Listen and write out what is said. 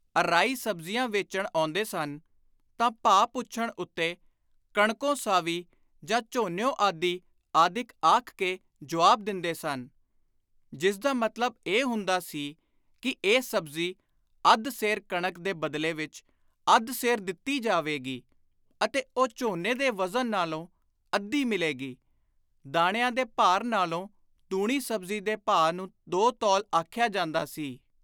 ਅਰਾਈਂ ਸਬਜ਼ੀਆਂ ਵੇਚਣ ਆਉਂਦੇ ਸਨ ਤਾਂ ਭਾਅ ਪੁੱਛਣ ਉੱਤੇ ‘ਕਣਕੋਂ ਸਾਵੀ’ ਜਾਂ ‘ਝੋਨਿਊਂ ਆਧੀ’ ਆਦਿਕ ਆਖ ਕੇ ਜੁਆਬ ਦਿੰਦੇ ਸਨ; ਜਿਸਦਾ ਮਤਲਬ ਇਹ ਹੁੰਦਾ ਸੀ ਕਿ ਇਹ ਸਬਜ਼ੀ ਅੱਧ ਸੇਰ ਕਣਕ ਦੇ ਬਦਲੇ ਵਿਚ ਅੱਧ ਸੇਰ ਦਿੱਤੀ ਜਾਵੇਗੀ ਅਤੇ ਉਹ ਝੋਨੇ ਦੇ ਵਜ਼ਨ ਨਾਲੋਂ ਅੱਧੀ ਮਿਲੇਗੀ।(‘ਦਾਣਿਆਂ ਦੇ ਭਾਰ ਨਾਲੋਂ ਦੂਣੀ’ ਸਬਜ਼ੀ ਦੇ ਭਾਅ ਨੂੰ ‘ਦੋ ਤੌਲ’ ਆਖਿਆ ਜਾਂਦਾ ਸੀ।)